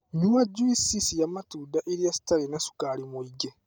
Nyua juici cia matunda irĩa citarĩ na cukari mũingĩ.